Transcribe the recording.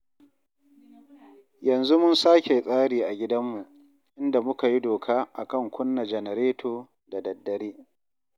Yanzu mun sake tsari a gidanmu, inda muka yi doka a kan kunna janareto da daddare